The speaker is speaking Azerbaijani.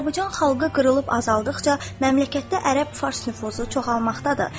Azərbaycan xalqı qırılıb azaldıqca məmləkətdə ərəb fars nüfuzu çoxalmaqdadır.